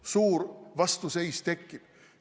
Kui suur vastuseis tekib?